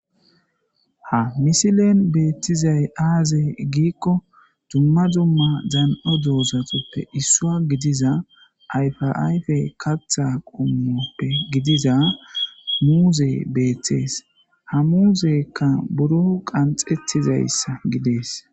Ha misilen beettizay aaze giikko dumma dumm dan7o doozatappe issoy gidiza ayfa ayfe. Katha qomo gidiza muuze beettes ha muzeka biro qanxettiza gides